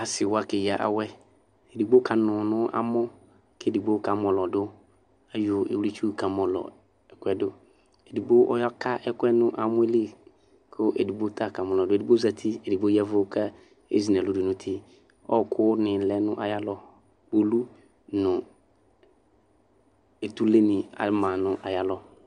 Asiwa keya awɛ edigbo kanʋ nʋ amɔ kʋ edigbo kamɔlɔdʋ kʋ ayɔ iwlitsu kamɔlɔ ɛkʋ yɛ dʋ edigbo ɔyaka ɛkʋɛ nʋ amɔli kʋ edigbo ta kamɔlɔdʋ edigbo zati ɛdigbo ya ɛvʋ kʋ ezinʋ ɛlʋ dʋnʋ uti ɔkʋ ni lɛnʋ ayʋ alɔ kpolʋ nʋ etʋle ni ama nʋ ayʋ alɔ